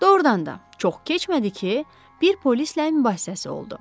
Doğrudan da, çox keçmədi ki, bir polislə mübahisəsi oldu.